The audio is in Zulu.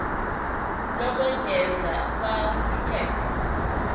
lokwengeza fal iphepha